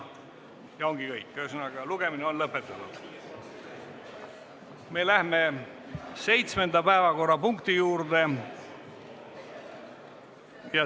Me läheme 7. päevakorrapunkti juurde.